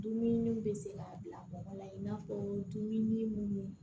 Dumuniw bɛ se ka bila mɔgɔ la i n'a fɔ dumuni munnu